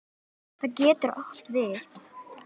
Það getur átt við